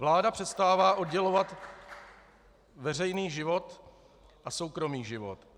Vláda přestává oddělovat veřejný život a soukromý život.